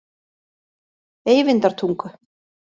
Eyvindartungu